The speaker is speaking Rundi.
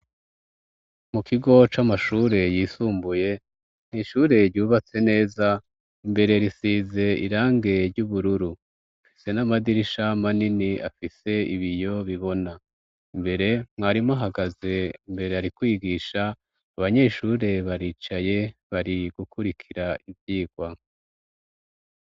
Mu kigo c'amashure yisumbuye n'ishure ryubatse neza, imbere risize irange ry'ubururu ,fise n'amadirisha manini afise ibiyo bibona, imbere mwarimu ahagaze imbere arikwigisha, abanyeshure baricaye bari gukurikira ivyigwa.